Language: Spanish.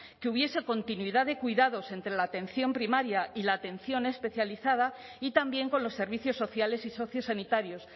que hubiese continuidad de cuidados entre la atención primaria y la atención especializada y también con los servicios sociales y sociosanitarios